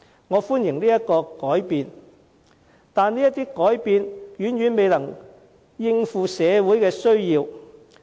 我歡迎這些改變，但這些改變遠遠未能應對社會的需要。